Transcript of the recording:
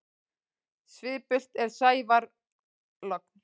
Svipult er sævar logn.